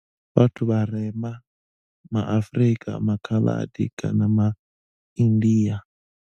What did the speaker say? Vhathu vharema, ma Afrika, maKhaladi kana maIndia.